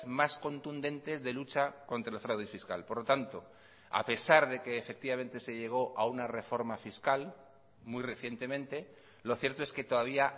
más contundentes de lucha contra el fraude fiscal por lo tanto a pesar de que efectivamente se llegó a una reforma fiscal muy recientemente lo cierto es que todavía